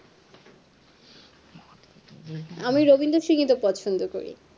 আমি রবীন্দ্রসংগীতও পছন্দ করি